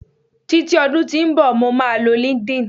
titi odun tí nbọ, mo ma lọ linkedin